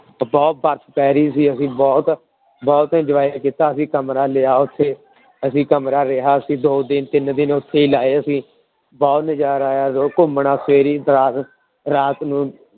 ਤੇ ਬਹੁਤ ਬਰਫ਼ ਪੈ ਰਹੀ ਸੀ ਅਸੀਂ ਬਹੁਤ ਬਹੁਤ enjoy ਕੀਤਾ ਅਸੀਂ ਕਮਰਾ ਲਿਆ ਉੱਥੇ ਅਸੀਂ ਕਮਰਾ ਰਿਹਾ ਅਸੀਂ ਦੋ ਦਿਨ, ਤਿੰਨ ਦਿਨ ਉੱਥੇ ਲਾਏ ਅਸੀਂ, ਬਹੁਤ ਨਜ਼ਾਰਾ ਆਇਆ ਘੁੰਮਣਾ ਰਾਤ ਰਾਤ ਨੂੰ